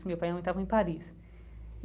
Meu pai e minha mãe estavam em Paris.